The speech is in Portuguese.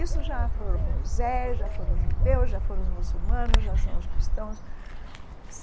Isso já foram Moisés, já foram os judeus, já foram os muçulmanos, já são os cristãos.